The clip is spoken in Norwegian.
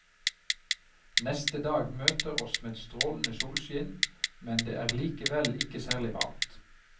Neste dag møter oss med strålende solskinn, men det er likevel ikke særlig varmt.